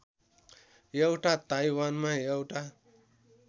एउटा ताइवानमा एउटा